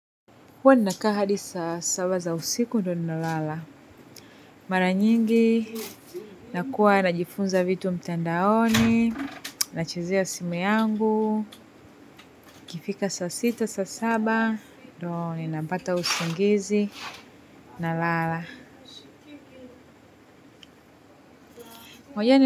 Huwa ninakaa hadi saa saba za usiku, ndio ninalala. Mara nyingi nakuwa najifunza vitu mtandaoni, nachezea simu yangu, ikifika saa sita saa saba ndio napata usingizi nalala.